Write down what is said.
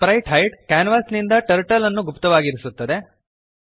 sprite hide ಕ್ಯಾನ್ವಾಸಿನಿಂದ turtle ಅನ್ನು ಗುಪ್ತವಾಗಿರಿಸುತ್ತದೆ